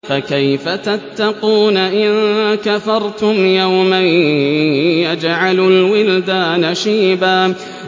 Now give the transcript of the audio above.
فَكَيْفَ تَتَّقُونَ إِن كَفَرْتُمْ يَوْمًا يَجْعَلُ الْوِلْدَانَ شِيبًا